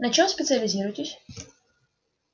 на чём специализируетесь